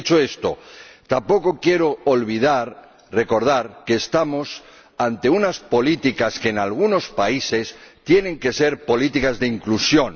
Dicho esto, también quiero recordar que estamos ante unas políticas que en algunos países tienen que ser políticas de inclusión